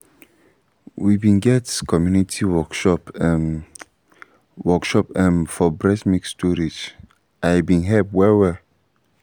we been get community workshop ehm workshop ehm for breast milk storage and e been help well-well